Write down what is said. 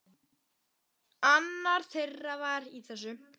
Annar þeirra var í þessu!